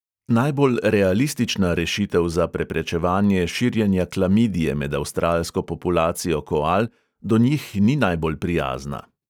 Najbolj realistična rešitev za preprečevanje širjenja klamidije med avstralsko populacijo koal do njih ni najbolj prijazna.